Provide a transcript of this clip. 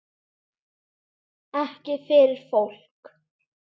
Ekki fyrir fólk?